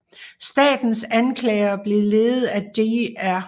Statens anklagere blev ledet af Dr